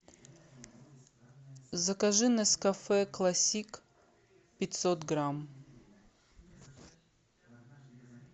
закажи нескафе классик пятьсот грамм